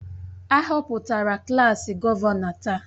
A họpụtara klaas gọvanọ taa